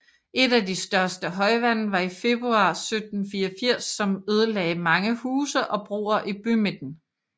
Et af de største højvande var i februar 1784 som ødelagde mange huse og broer i bymidten